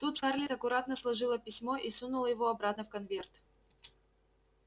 тут скарлетт аккуратно сложила письмо и сунула его обратно в конверт